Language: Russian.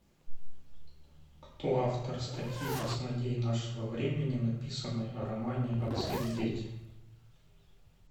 кто автор статьи асмодей нашего времени написанной о романе отцы и дети